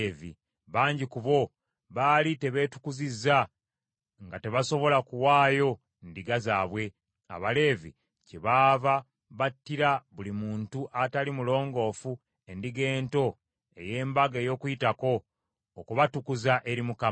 Bangi ku bo, baali tebeetukuzizza nga tebasobola kuwaayo ndiga zaabwe; Abaleevi kyebaava battira buli muntu ataali mulongoofu Endiga Ento ey’Embaga ey’Okuyitako, okubatukuza eri Mukama .